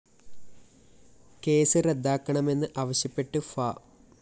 case റദ്ദാക്കണമെന്ന് ആവശ്യപ്പെട്ട് ഫാ